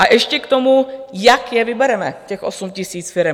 A ještě k tomu, jak je vybereme, těch 8 000 firem.